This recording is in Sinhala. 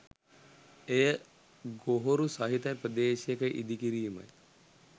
එය ගොහොරු සහිත ප්‍රදේශයක ඉදි කිරීමයි.